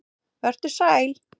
Vertu sæl.